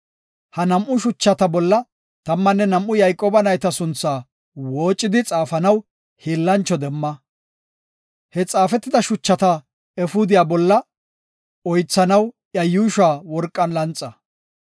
Ha nam7u shuchata bolla tammanne nam7u Yayqooba nayta sunthaa woocadi xaafanaw hiillancho demma; he xaafetida shuchata efuudiya bolla oythanaw iya yuushuwa worqan lanxa.